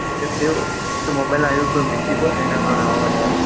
એવું mobile અંદર કોઈ મિસ્ટેક હોય એના કારણે આવો આવાજ આવેછે